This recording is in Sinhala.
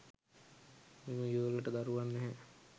මේ යුවළට දරුවන් නැහැ.